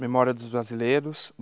Memória dos Brasileiros.